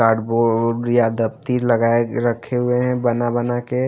Card -board या दफ्ती लगाए रखे हुए हैं बना-बना के।